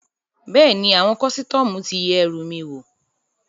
Bẹ́ẹ̀ni, àwọn kọ́sítọ́mù ti yẹ ẹrù mi wò